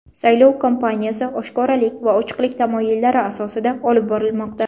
Saylov kampaniyasi oshkoralik va ochiqlik tamoyillari asosida olib borilmoqda.